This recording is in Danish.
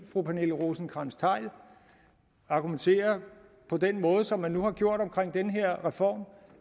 at fru pernille rosenkrantz theil argumenterer på den måde som man nu har gjort omkring den her reform